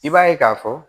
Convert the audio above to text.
I b'a ye k'a fɔ